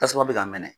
Tasuma bɛ ka mɛnɛ